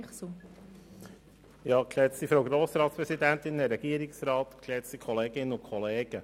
Bichsel als Antragsteller hat das Wort.